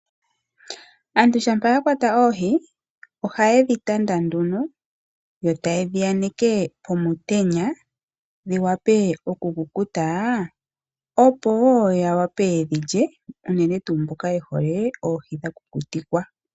Aantu shampa yakwata oohi, ohaye dhitanda nduno yotaye dhi aneke pomutenya dhiwape oku kukuta opoo yawape yedhilye unene mboka yehole oohidhakukuta